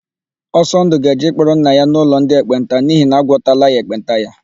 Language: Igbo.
Ọsọndụ ga-eje ịkpọrọ nna ya n'ụlọ ndị ekpenta n'ihi na agwọtala ya ekpenta ahụ.